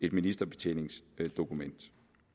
et ministerbetjeningsdokument